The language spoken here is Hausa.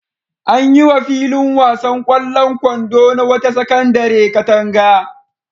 An yi wa filin wasan ƙwallon kwando na wata sakandare katanga.